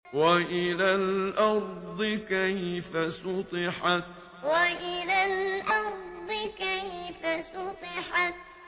وَإِلَى الْأَرْضِ كَيْفَ سُطِحَتْ وَإِلَى الْأَرْضِ كَيْفَ سُطِحَتْ